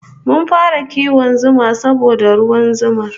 Mun fara kiwon zuma saboda ruwan zumar